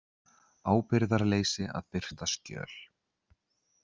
Ábyrgðarleysi að birta skjöl